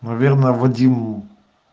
наверное вадим